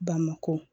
Bamakɔ